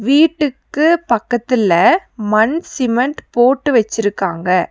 வீட்டுக்கு பக்கத்துல மண் சிமெண்ட் போட்டு வச்சிருக்காங்க.